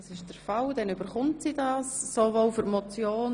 – Grossrätin Wälchli hat das Wort.